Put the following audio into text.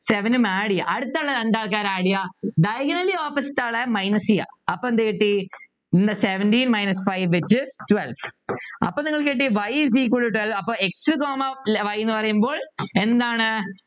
Seven ഉം add ചെയ്യ അടുത്തുള്ള രണ്ട് ആൾക്കാരെ add ചെയ്യുക diagonally opposite ആളെ minus ചെയ്യുക അപ്പോ എന്ത് കിട്ടി seventeen minus five twelve അപ്പൊ നിങ്ങൾക്ക് കിട്ടി y is equal to twelve അപ്പൊ x comma y എന്ന് പറയുമ്പോൾ എന്താണ്